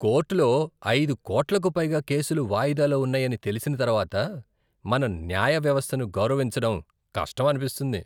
కోర్టులో అయిదు కోట్లకు పైగా కేసులు వాయిదాలో ఉన్నాయని తెలిసిన తర్వాత మన న్యాయ వ్యవస్థను గౌరవించడం కష్టం అనిపిస్తుంది.